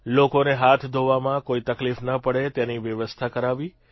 લોકોને હાથ ધોવામાં કોઇ તકલીફ ન પડે તેની વ્યવસ્થા કરાવી